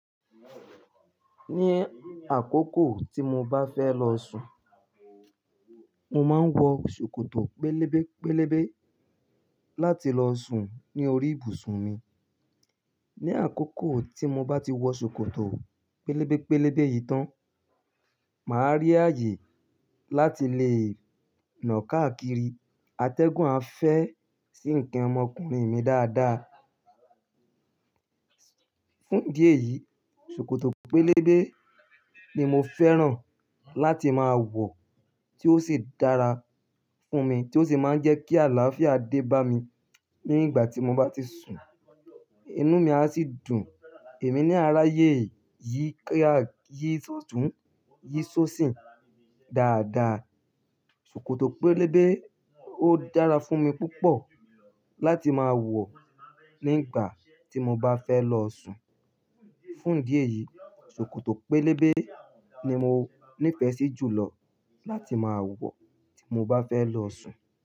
Ní àkókò tí mo bá fẹ́ lọ sùn, mo máa ń wọ ṣòkòtò pélébé pélébé láti lọ sùn ní orí ibùsùn mi. Ní àkókò tí mo bá ti wọ ṣòkòtò pélébé pélébé yìí tán, màá rí ààyè láti lè nọ̀ káàkiri. Atẹ́gùn a fẹ́ sí ǹkan ọmọkùnrin mi dáadáa. Fún idí ẹ̀yìí, ṣòkòtò pélébé ni mo fẹ́ràn láti máa wọ̀ tí ó sì dára fún mi tí ó sì máa ń jẹ́ kí àlàáfíà dé bá mi nígbà tí mo bá ti sùn. Inú mi a sì dùn, èmi na ara yé yí kíá yí ṣotùn yí ṣóṣìn dáadáa. Ṣòkòtò pélébé ó dára fún mi púpọ̀ láti máa wọ̀ nígbà tí mo bá fẹ́ lọ sùn. Fún idí ẹ̀yìí, ṣòkòtò pélébé ni mo nífẹ̀ẹ́ sí jùlọ láti máa wọ̀ tí mo bá fẹ́ lọ sùn.